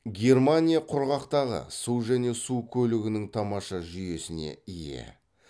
германия құрғақтағы су және су көлігінің тамаша жүйесіне ие